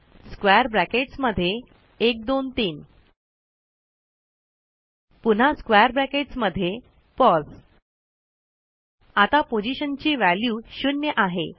square brackets मध्ये123 पुन्हा square brackets मध्ये पोस आता पोझीशनची व्हॅल्यू 0 आहे